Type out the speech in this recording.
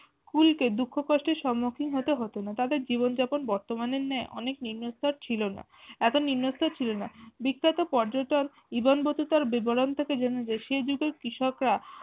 খুলকে দুঃখ কষ্ট সম্মুখী হতে হতো না তাদের জীৱন যাপন বর্তমানের ন্যায় অনেক নিম্নস্তর ছিল না, এতো নিম্নস্তর ছিল না বিখ্যাত পর্যটন ইবান বতিতর বিবরণ থেকে জানা যায় সেই যুগের কৃষকরা